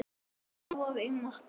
Blaðar í möppu.